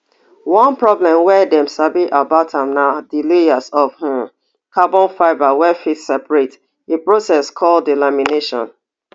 one problem wey dem sabi about am na di layers of um carbon fibre wey fit separate a process called delamination